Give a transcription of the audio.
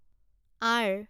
R